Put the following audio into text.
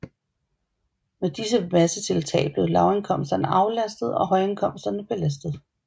Med disse massetiltag blev lavindkomsterne aflastede og højindkomsterne belastede